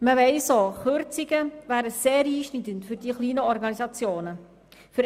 Man weiss auch, dass Kürzungen für die kleinen Organisationen sehr einschneidend wären.